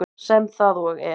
Sem það og er.